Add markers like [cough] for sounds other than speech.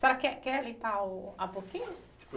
A senhora, quer quer limpar o a? [unintelligible]